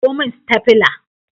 Kawo min stafila!